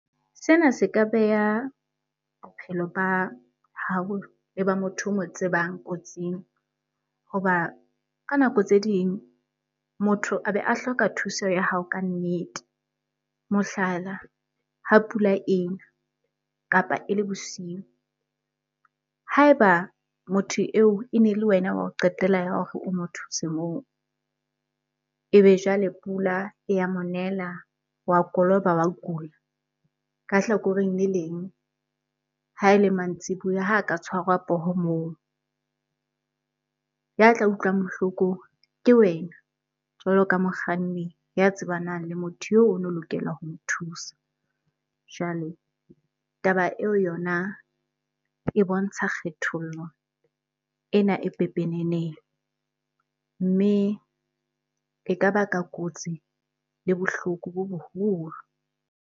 Sena se ka beha bophelo ba hao le ba motho o mo tsebang kotsing. Hoba ka nako tse ding motho a be a hloka thuso ya hao kannete, mohlala ha pula ena kapa e le bosiu. Ha e ba motho eo e ne le wena wa ho qetela ya hore o mo thuse moo e be jwale pula e ya monela wa koloba, wa kula. Ka hlakoreng le leng ha e le mantsibuya, ha ka tshwara poho moo. Ya tla utlwang bohloko ke wena jwalo ka mokganni ya tsebanang le motho eo o no lokela ho mo thusa. Jwale taba eo yona e bontsha kgethollo ena e pepeneneng mme e ka baka kotsi le bohloko bo boholo.